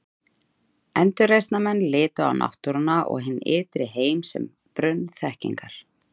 Endurreisnarmenn litu á náttúruna og hinn ytri heim sem brunn þekkingar.